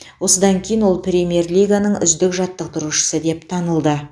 осыдан кейін ол премьер лиганың үздік жаттықтырушысы деп танылды